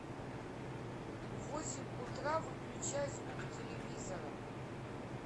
в восемь утра выключай звук телевизора